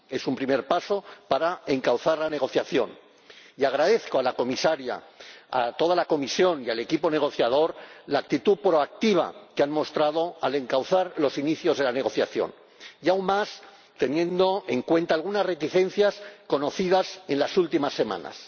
Es un primer paso para encauzar la negociación y agradezco a la Comisaría, a toda la Comisión y al equipo negociador la actitud proactiva que han mostrado al encauzar los inicios de la negociación, y aún más teniendo en cuenta algunas reticencias conocidas en las últimas semanas.